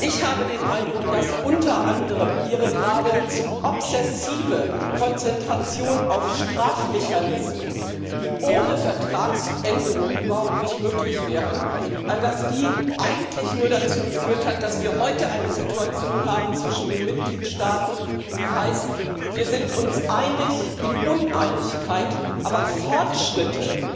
Ich habe den Eindruck, dass unter anderem Ihre geradezu obsessive Konzentration auf Strafmechanismen, die ohne Vertragsänderung überhaupt nicht möglich wären, eigentlich nur dazu geführt hat, dass wir heute eine Situation zwischen den Mitgliedstaaten haben, die heißt Wir sind uns einig in Uneinigkeit aber Fortschritte